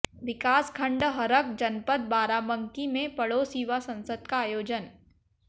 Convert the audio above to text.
विकास खण्ड हरख जनपद बाराबंकी में पड़ोस युवा संसद का आयोजन